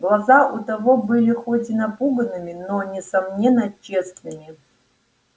глаза у того были хоть и напуганными но несомненно честными